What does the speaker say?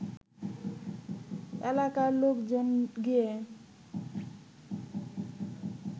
এলাকার লোকজন গিয়ে